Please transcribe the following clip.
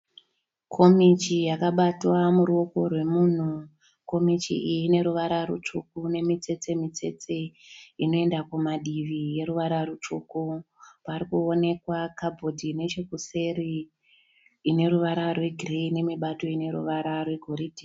Komichi yakabatwa muruoko rwemunhu, komichi iyi ine ruvara rutsvuku nemitsetse mitsetse inoenda kumadivi yeruvara rutsvuku pari kuonekwa kabhodhi nechekuseri ine ruvara rwegireyi nemibato ine ruvara rwegoridhe.